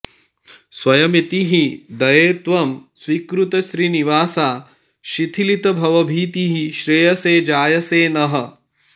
स्वयमिति हि दये त्वं स्वीकृतश्रीनिवासा शिथिलितभवभीतिः श्रेयसे जायसे नः